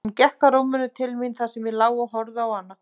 Hún gekk að rúminu til mín þar sem ég lá og horfði á hana.